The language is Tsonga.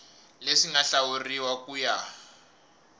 leswi nga hlawuriwa ku ya